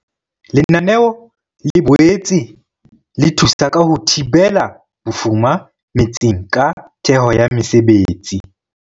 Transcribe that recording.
Lenaneo le boetse le thusa ka ho thibela bofuma metseng ka theho ya mesebetsi.